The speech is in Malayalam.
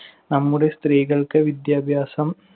നമ്മുടെ സ്ത്രീകൾക്ക് വിദ്യാഭ്യാസം